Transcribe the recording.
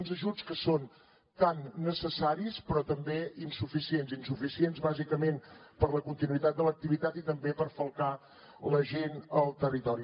uns ajuts que són tan necessaris però també insuficients insuficients bàsicament per a la continuïtat de l’activitat i també per falcar la gent al territori